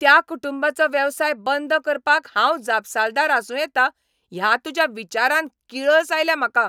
त्या कुटुंबाचो वेवसाय बंद करपाक हांव जापसालदार आसूं येता ह्या तुज्या विचारान किळस आयल्या म्हाका.